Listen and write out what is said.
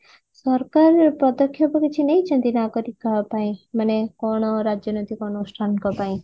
ସରକାର ପଦକ୍ଷେପ କିଛି ନେଇଛନ୍ତି ନା କରି କାହା ପାଇଁ ମାନେ କଣ ରାଜନୈତିକ ଅନୁଷ୍ଠାନ ଙ୍କ ପାଇଁ